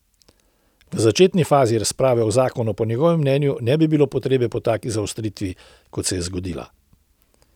V začetni fazi razprave o zakonu po njegovem mnenju ne bi bilo potrebe po taki zaostritvi, kot se je zgodila.